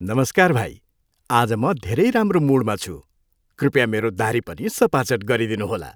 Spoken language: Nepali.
नमस्कार भाइ। आज म धेरै राम्रो मुडमा छु। कृपया मेरो दाह्री पनि सफाचट गरिदिनुहोला।